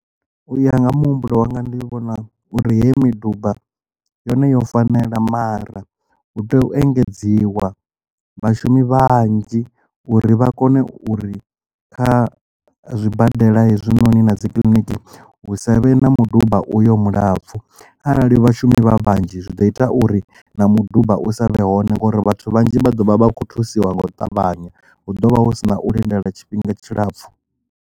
U ya nga muhumbulo wanga ndi vhona uri he miduba yone yo fanela mara hu tea u engedziwa vhashumi vhanzhi uri vha kone uri kha zwibadela hezwinoni na dzi kiḽiniki hu sa vhe na mudumba uyo mulapfu arali vhashumi vha vhanzhi zwi ḓo ita uri na muduba u sa vhe hone ngori vhathu vhanzhi vha ḓovha vha kho thusiwa nga u ṱavhanya hu ḓovha hu sina u lindela tshifhinga tshilapfhu.